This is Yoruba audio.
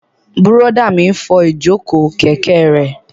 Bùrọ̀dá mi n fọ ìjòkó kẹ̀kẹ́ rẹ̀